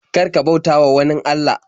Kar ka bautawa wanin Allah.